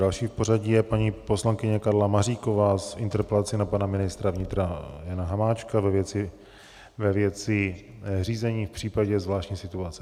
Další v pořadí je paní poslankyně Karla Maříková s interpelací na pana ministra vnitra Jana Hamáčka ve věci řízení v případě zvláštní situace.